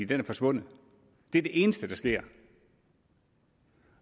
den er forsvundet det er det eneste der sker